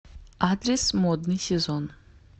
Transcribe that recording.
адрес модный сезон